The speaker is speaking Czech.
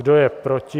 Kdo je proti?